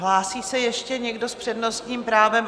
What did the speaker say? Hlásí se ještě někdo s přednostním právem?